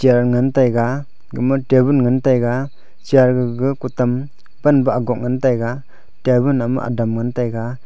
ngantaga gama tebun ngan taga chair gagau kutam panba agok ngantaga tabun ham adaam ngantaga.